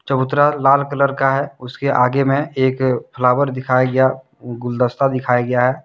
चबूतरा लाल कलर का है उसके आगे में एक फ्लावर दिखाया गया गुलदस्ता दिखाया गया--